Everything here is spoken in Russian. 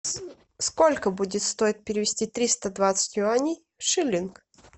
сколько будет стоить перевести триста двадцать юаней в шиллинг